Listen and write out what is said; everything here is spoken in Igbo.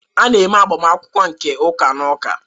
A na-eme agbamakwụkwọ nke ụka na ụka.